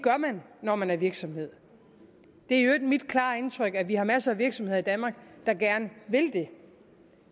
når man er virksomhed det er i øvrigt mit klare indtryk at vi har masser af virksomheder i danmark der gerne vil det